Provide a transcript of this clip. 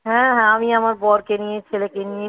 হ্যাঁ আমি আমার বরকে নিয়ে ছেলেকে নিয়ে